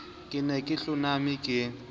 ke ne ke hloname ke